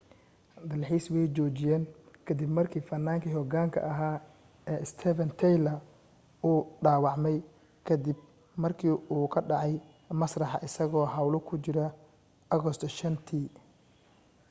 dalxiiskii way joojiyeen ka dib markii fannaankii hogaanka ahaa ee steven tyler uu dhaawacmay ka dib markuu ka dhacay masraxa isagoo hawl ku jira agoosto 5teea